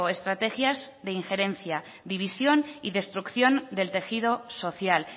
estrategias de injerencia división y destrucción del tejido social